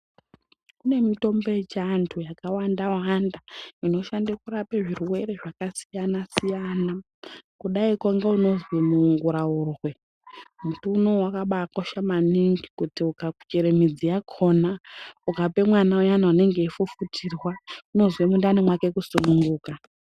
Kune mitombo yechianthu yakawanda wanda inoshande kurapa zvirwere zvakasiyana siyana. Kudaiko ngeunozi munguraurwe muti unowu wakabakosha maningi kuti ukachera midzi yakona ukape mwana uyana unenge weifufutirwa unozwe mundani mwake kusununguka.